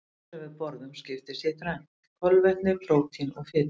Maturinn sem við borðum skiptist í þrennt: kolvetni, prótín og fitu.